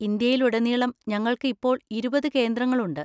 ഇന്ത്യയിലുടനീളം ഞങ്ങൾക്ക് ഇപ്പോൾ ഇരുപത് കേന്ദ്രങ്ങളുണ്ട്.